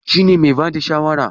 Shi ne mai bada shawara?